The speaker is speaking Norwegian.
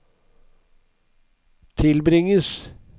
tilbringes